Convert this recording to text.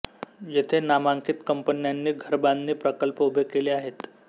येथे नामांकित कंपन्यांनी घरबांधणी प्रकल्प उभे केले आहेत